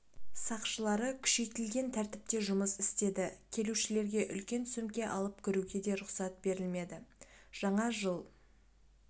сақшылары күшейтілген тәртіпте жұмыс істеді келушілерге үлкен сөмке алып кіруге де рұқсат берілмеді жаңа жыл